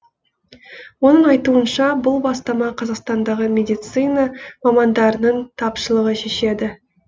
оның айтуынша бұл бастама қазақстандағы медицна мамандарының тапшылығы шешеді